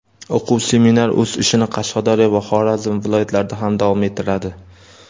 O‘quv seminar o‘z ishini Qashqadaryo va Xorazm viloyatlarida ham davom ettiradi.